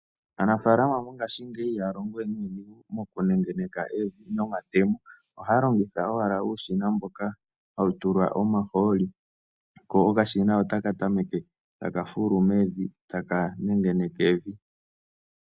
Aanafaalama mongashingeyi ihaya longowe nuudhigu mokunengeneka evi nomatemo, ohaya longitha owala uushina mboka hawu tulwa omahooli, ko okashina ota ka tameke ta ka fulu mevi ta ka nengeneke evi.